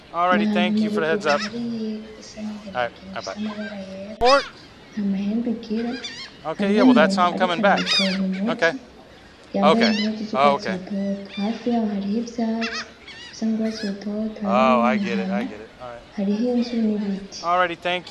Ni ahantu murugogwe hariyinka isa n'inginagina ifise amabara yera, nta mahembe igira hariho umuntu ariko arayipompa umuti yambaye impuzu z'urwatsi rutoto hafi yaho hariho ivyatsi bisa n'urwatsi rutoto, hariho n'umuhana, hariho inzu, n'ibiti.